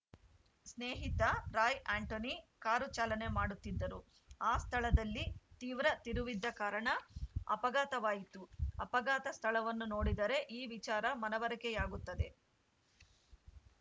ಸ್ನೇಹಿತ ರಾಯ್‌ ಆಂಟೋನಿ ಕಾರು ಚಾಲನೆ ಮಾಡುತ್ತಿದ್ದರು ಆ ಸ್ಥಳದಲ್ಲಿ ತೀವ್ರ ತಿರುವಿದ್ದ ಕಾರಣ ಅಪಘಾತವಾಯಿತು ಅಪಘಾತ ಸ್ಥಳವನ್ನು ನೋಡಿದರೆ ಈ ವಿಚಾರ ಮನವರಿಕೆಯಾಗುತ್ತದೆ